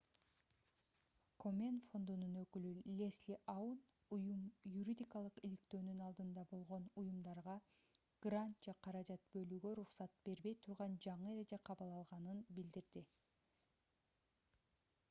комен фондунун өкүлү лесли аун уюм юридикалык иликтөөнүн алдында болгон уюмдарга грант же каражат бөлүүгө уруксат бербей турган жаңы эреже кабыл алынганын билдирди